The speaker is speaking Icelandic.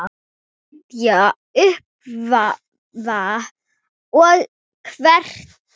Styðja, uppörva og hvetja.